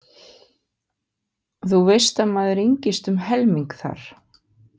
Þú veist að maður yngist um helming þar.